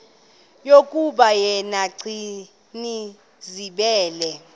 yokuba yena gcinizibele